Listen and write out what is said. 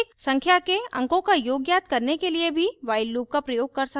sum एक संख्या के अंकों का योग ज्ञात करने के लिए भी while loop का प्रयोग कर सकते हैं